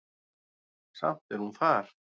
Samt er hún þar.